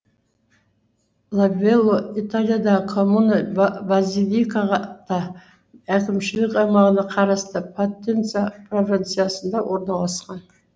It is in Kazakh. лавелло италиядағы коммуна базилика та әкімшілік аймағына қарасты потенца провинциясында орналасқан